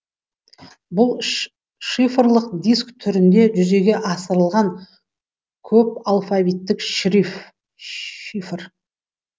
бұл шифрлық диск түрінде жүзеге асырылған көп алфавиттік шифр